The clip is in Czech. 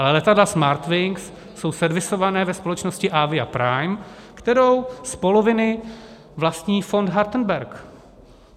Ale letadla Smartwings jsou servisovaná ve společnosti Avia Prime, kterou z poloviny vlastní fond Hartenberg.